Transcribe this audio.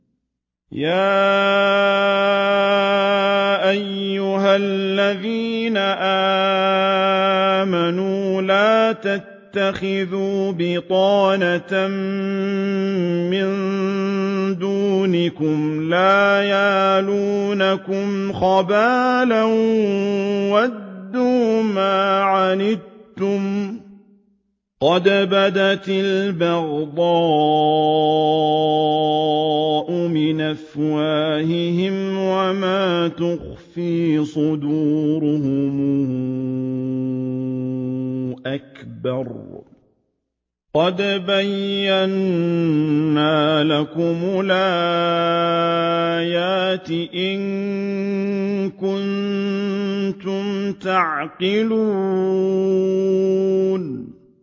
يَا أَيُّهَا الَّذِينَ آمَنُوا لَا تَتَّخِذُوا بِطَانَةً مِّن دُونِكُمْ لَا يَأْلُونَكُمْ خَبَالًا وَدُّوا مَا عَنِتُّمْ قَدْ بَدَتِ الْبَغْضَاءُ مِنْ أَفْوَاهِهِمْ وَمَا تُخْفِي صُدُورُهُمْ أَكْبَرُ ۚ قَدْ بَيَّنَّا لَكُمُ الْآيَاتِ ۖ إِن كُنتُمْ تَعْقِلُونَ